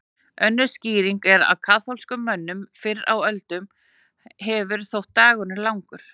Önnur skýring er að kaþólskum mönnum fyrr á öldum hefur þótt dagurinn langur.